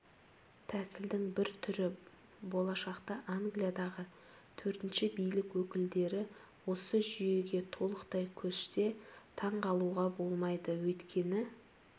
тәсілдің бір түрі болашақта англиядағы төртінші билік өкілдері осы жүйеге толықтай көшсе таңғалуға болмайды өйткені